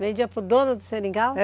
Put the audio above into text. Vendia para o dono do seringal?